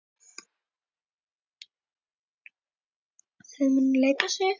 Þær munu leika sig.